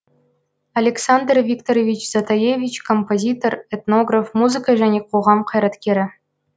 александр викторович затаевич композитор этнограф музыка және қоғам қайраткері